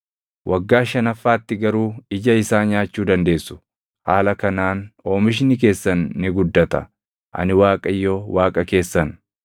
Waggaa shanaffaatti garuu ija isaa nyaachuu dandeessu. Haala kanaan oomishni keessan ni guddata. Ani Waaqayyo Waaqa keessan.